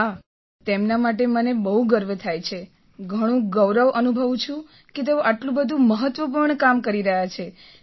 હા તેમના માટે મને બહુ ગર્વ થાય છે ઘણું ગૌરવ અનુભવું છું કે તેઓ આટલું બધું મહત્ત્વપૂર્ણ કામ કરી રહ્યા છે